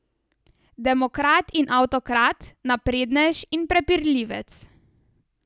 Demokrat in avtokrat, naprednež in prepirljivec.